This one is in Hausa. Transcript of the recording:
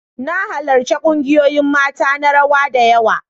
Na halarci kungiyoyin mata na rawa da yawa.